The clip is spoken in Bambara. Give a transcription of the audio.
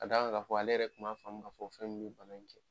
Ka da kan ka fɔ, ale yɛrɛ tun ma fɔ fɛn ye ba in cɛ.